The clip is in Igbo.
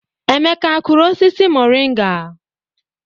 Emeka akụrụ osisi moringa?